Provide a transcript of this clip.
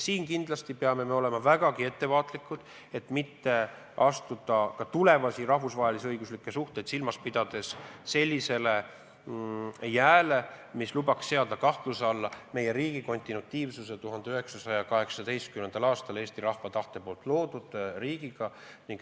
Siin kindlasti peame olema vägagi ettevaatlikud, et mitte astuda ka tulevasi rahvusvahelisi õiguslikke suhteid silmas pidades libedale jääle, nii et oleks võimalik seada kahtluse alla meie riigi kontinuatiivsus 1918. aastal Eesti rahva tahtel loodud riigiga.